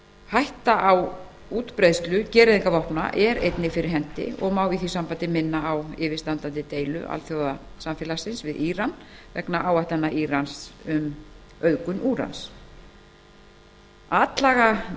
hætta á útbreiðslu gereyðingavopna er einnig fyrir hendi og má í því sambandi minna á yfirstandandi deilu alþjóðasamfélagsins við íran vegna áætlana írans um auðgun úrans atlaga